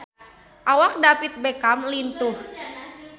Awak David Beckham lintuh